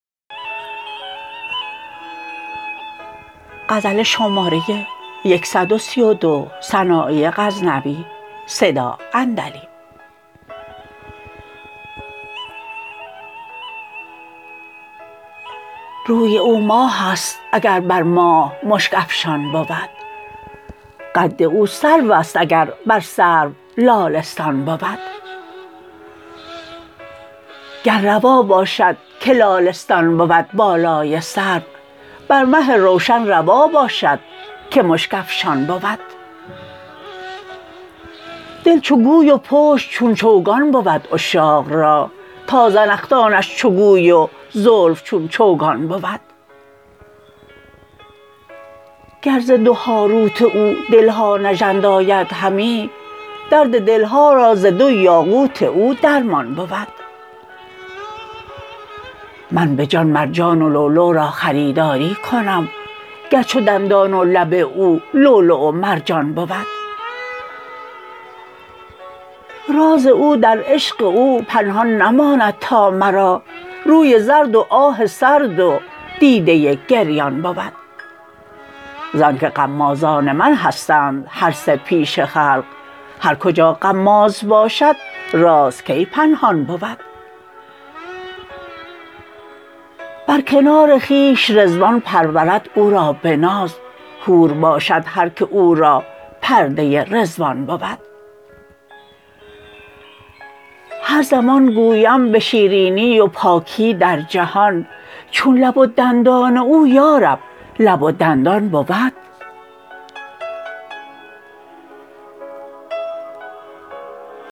روی او ماهست اگر بر ماه مشک افشان بود قد او سروست اگر بر سرو لالستان بود گر روا باشد که لالستان بود بالای سرو بر مه روشن روا باشد که مشک افشان بود دل چو گوی و پشت چون چوگان بود عشاق را تا زنخدانش چو گوی و زلف چون چوگان بود گر ز دو هاروت او دلها نژند آید همی درد دلها را ز دو یاقوت او درمان بود من به جان مرجان و لولو را خریداری کنم گر چو دندان و لب او لولو و مرجان بود راز او در عشق او پنهان نماند تا مرا روی زرد و آه سرد و دیده گریان بود زان که غمازان من هستند هر سه پیش خلق هر کجا غماز باشد راز کی پنهان بود بر کنار خویش رضوان پرورد او را به ناز حور باشد هر که او پرورده رضوان بود هر زمان گویم به شیرینی و پاکی در جهان چون لب و دندان او یارب لب و دندان بود